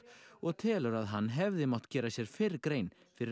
og telur að hann hefði mátt gera sér fyrr grein fyrir